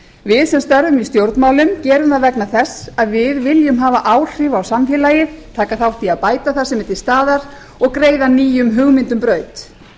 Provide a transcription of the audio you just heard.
við sem störfum í stjórnmálum gerum það vegna þess að við viljum hafa áhrif á samfélagið taka þátt í að bæta það sem er til staðar og greiða nýjum hugmyndum braut